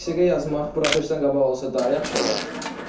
Besiqə yazmaq buraxılışdan qabaq olsa daha yaxşı olar.